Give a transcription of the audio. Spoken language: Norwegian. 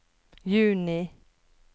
juni